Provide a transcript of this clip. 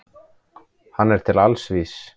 Hann er til alls vís.